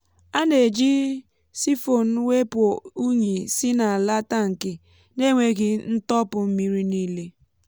a na-eji siphon wepụ unyi si n’ala tankị n’enweghị ịtọpụ mmiri niile.